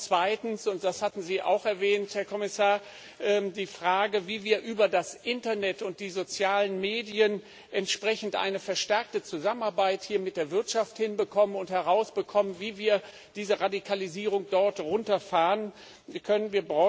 Zweitens und das hatten Sie auch erwähnt, Herr Kommissar geht es um die Frage, wie wir über das Internet und die sozialen Medien entsprechend eine verstärkte Zusammenarbeit mit der Wirtschaft hinbekommen und herausfinden, wie wir diese Radikalisierung dort runterfahren können.